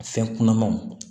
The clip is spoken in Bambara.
A fɛn kunanmanw